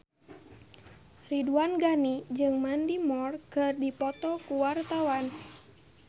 Ridwan Ghani jeung Mandy Moore keur dipoto ku wartawan